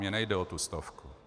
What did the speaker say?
Mně nejde o tu stovku.